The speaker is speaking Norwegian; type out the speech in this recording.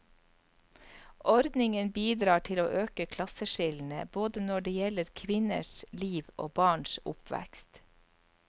Ordningen bidrar til å øke klasseskillene, både når det gjelder kvinners liv og barns oppvekst.